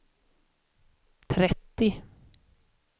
trettio